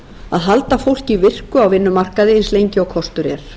að halda fólki virku á vinnumarkaði eins lengi og kostur er